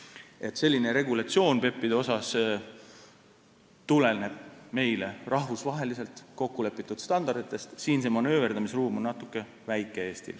Seega, PEP-ide regulatsioon tuleneb rahvusvaheliselt kokkulepitud standarditest ja Eesti manööverdamisruum on siin väike.